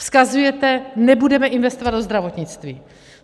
Vzkazujete: Nebudeme investovat do zdravotnictví.